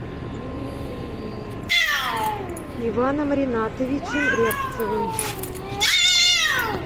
иваном ринатовичем рябцевым